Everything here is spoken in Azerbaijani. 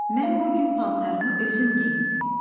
“Mən bu gün paltarımı özüm geyindim.